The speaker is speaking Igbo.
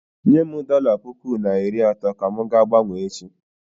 Nyem dọla puku na iri atọ ka m ga-gbanwee echi.